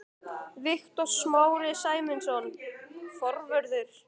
Viktor Smári Sæmundsson, forvörður.